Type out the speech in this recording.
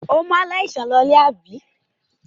Ó mú aláìsàn náà lólè, àbí?